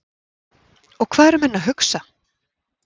Og hvað eru menn að hugsa?